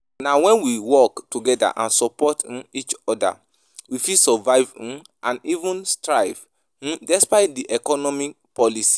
Na when we work together and support hmm each oda, we fit survive hmm and even thrive hmm despite di economic policies.